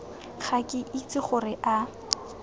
ga ke itse gore a